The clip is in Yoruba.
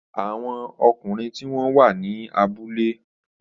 Àwọn ọkùnrin tí wọ́n wà ní abúlé